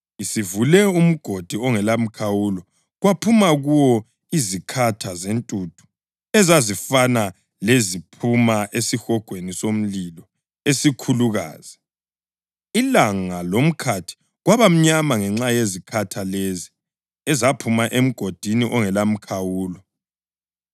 Isivule umgodi ongelamkhawulo kwaphuma kuwo izikhatha zentuthu ezazifana leziphuma esihogweni somlilo esikhulukazi. Ilanga lomkhathi kwaba mnyama ngenxa yezikhatha lezi ezaphuma emgodini ongelamkhawulo.